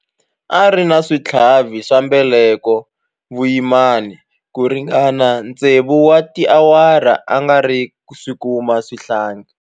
A ri na switlhavi swa mbeleko vuyimani ku ringana tsevu wa tiawara a nga si kuma xihlangi.